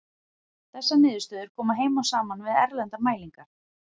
Þessar niðurstöður koma heim og saman við erlendar mælingar.